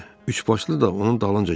Üçbaşlı da onun dalınca gəlirdi.